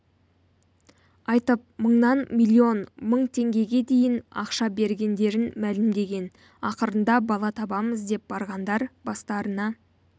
айтып мыңнан миллион мың теңгеге дейін ақша бергендерін мәлімдеген ақырында бала табамыз деп барғандар бастарына